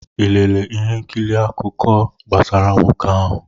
ị lere ihe nkiri akụkọ gbasara nwoke ahụ?